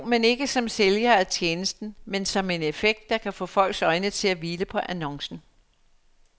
Jo, men ikke som sælgere af tjenesten, men som en effekt, der kan få folks øjne til at hvile på annoncen.